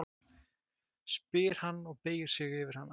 spyr hann og beygir sig yfir hana.